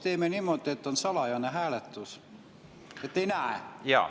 Teeme niimoodi, et on salajane hääletus, et ei näe.